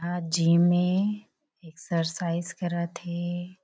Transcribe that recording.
आ gym में exercise करत हे।